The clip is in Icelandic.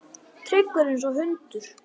Tryggur einsog hundur.